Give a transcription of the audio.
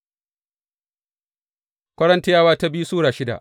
biyu Korintiyawa Sura shida